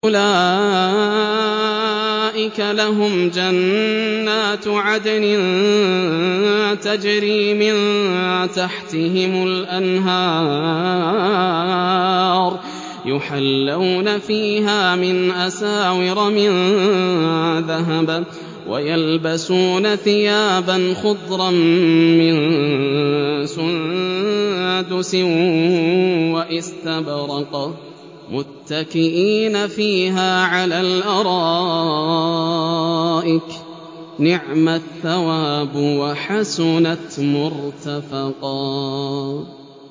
أُولَٰئِكَ لَهُمْ جَنَّاتُ عَدْنٍ تَجْرِي مِن تَحْتِهِمُ الْأَنْهَارُ يُحَلَّوْنَ فِيهَا مِنْ أَسَاوِرَ مِن ذَهَبٍ وَيَلْبَسُونَ ثِيَابًا خُضْرًا مِّن سُندُسٍ وَإِسْتَبْرَقٍ مُّتَّكِئِينَ فِيهَا عَلَى الْأَرَائِكِ ۚ نِعْمَ الثَّوَابُ وَحَسُنَتْ مُرْتَفَقًا